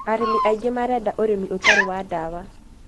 arĩmi aingĩ marenda ũrĩmi ũtarĩ wa ndawa